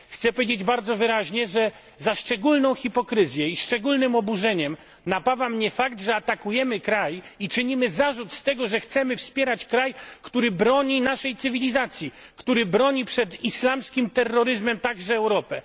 Chcę powiedzieć bardzo wyraźnie, że za szczególną hipokryzję uważam i szczególnym oburzeniem napawa mnie fakt, że atakujemy kraj i czynimy zarzut z tego, że chcemy wspierać kraj, który broni naszej cywilizacji, który broni przed islamskim terroryzmem także Europę.